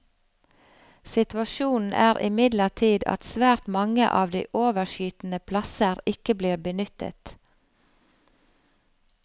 Situasjonen er imidlertid at svært mange av de overskytende plasser ikke blir benyttet.